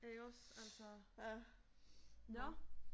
Ikke også altså. Nåh